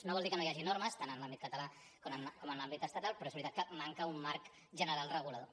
no vol dir que no hi hagi normes tant en l’àmbit català com en l’àmbit estatal però és veritat que manca un marc general regulador